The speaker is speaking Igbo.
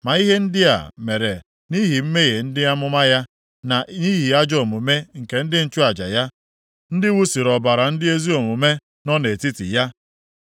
Ma ihe ndị a mere nʼihi mmehie ndị amụma ya, na nʼihi ajọ omume nke ndị nchụaja ya, ndị wụsiri ọbara ndị ezi omume nọ nʼetiti ya.